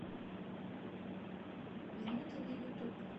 минуты на ютуб